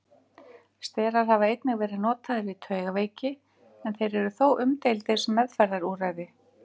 Sterar hafa einnig verið notaðir við taugaveiki en þeir eru þó umdeildir sem meðferðarúrræði.